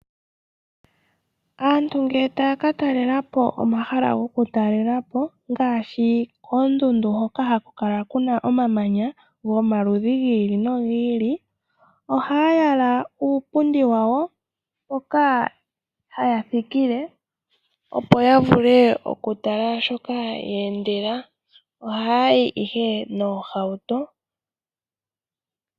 Aantu ngele taya katalelapo omahala gokutalelapo ngaashi koondundu hoka hakukala kuna omamanya gomaludhi giili no giili ohaya yala uupundi wawo mpoka haya thikile opo yamvule okutala shoka yeendela. Ohaya yi ihe noohauto.